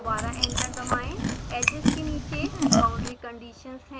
दोबारा एंटर दबाएं edges के नीचे बाउंड्री कंडीशंस हैं